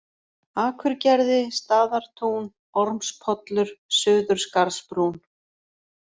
Akurgerði, Staðartún, Ormspollur, Suðurskarðsbrún